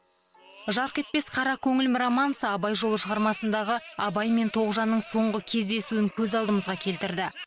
жарқ етпес қара көңілім романсы абай жолы шығармасындағы абай мен тоғжанның соңғы кездесуін көз алдымызға келтірді